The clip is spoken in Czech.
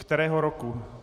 Kterého roku?